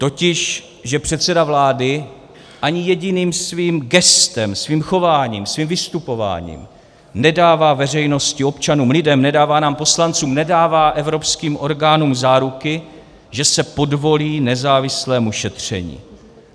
Totiž že předseda vlády ani jediným svým gestem, svým chováním, svým vystupováním nedává veřejnosti, občanům, lidem, nedává nám poslancům, nedává evropským orgánům záruky, že se podvolí nezávislému šetření.